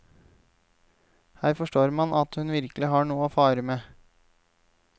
Her forstår man at hun virkelig har noe å fare med.